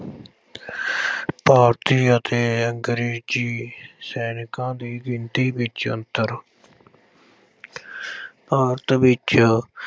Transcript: ਭਾਰਤੀ ਅਤੇ ਅੰਗਰੇਜ਼ੀ ਸੈਨਿਕਾਂ ਦੀ ਗਿਣਤੀ ਵਿੱਚ ਅੰਤਰ। ਅਹ ਭਾਰਤ ਵਿੱਚ